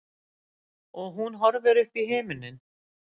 Og hún horfir uppí himininn.